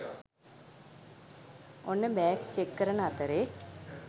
ඔන්න bag check කරන අතරේ